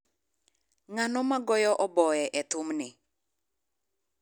Ng’ano ma goyo oboe e thumni?